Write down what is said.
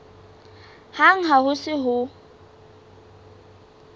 hang ha ho se ho